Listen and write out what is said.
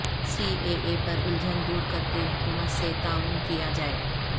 C A A پر الجھن دور کرکے حکومت سے تعاون کیا جائے